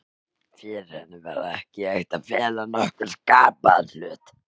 Fyrir henni var ekki hægt að fela nokkurn skapaðan hlut.